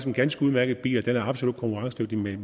en ganske udmærket bil og den er absolut konkurrencedygtig med